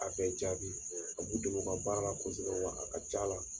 A bɛɛ jaabi a b'u dɛmɛ u ka baara la kosɛbɛ wa a ka c'a la.